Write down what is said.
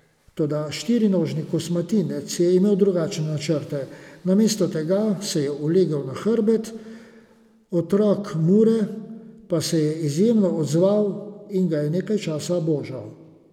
Toda štirinožni kosmatinec je imel drugačne načrte, namesto tega se je ulegel na hrbet, otrok Mure pa se je izjemno odzval in ga je nekaj časa božal.